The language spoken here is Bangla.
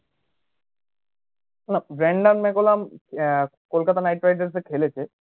ব্রানডম মাকুলাম আহ কলকাতা নাইটে রাইডার্সে খেলেছে